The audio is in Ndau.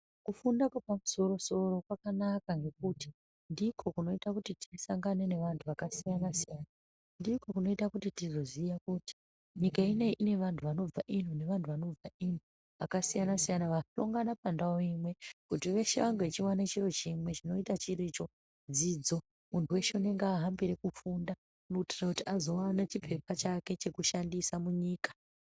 Kufunda kwepamusoro soro kwakanaka ngekuti ndiko kunoita kuti tisangane nevantu zvakasiyana-siyana, ndiko kunoita kuti tizoziya kuti nyika ino iyi ine vantu vanobva iyi nevantu vanobva iyi zvakasiyana-siyana vanoungana pandau imwe kuti veshe vange vachiwana chiro chimwe chinoita chiri icho, dzidzo, muntu weshe unenge ahambira kufunda kuitira kuti azowane chipepa chake chekushandise munyika.